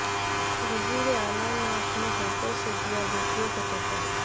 وزیر اعلی نے اپنےہاتھوں سے دیا بیٹیوں کو تحفہ